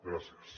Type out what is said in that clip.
gràcies